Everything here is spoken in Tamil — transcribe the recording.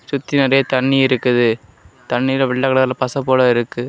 சுத்தி நெறைய தண்ணியிருக்குது தண்ணில வெள்ள கலர்ல பசபோல இருக்கு.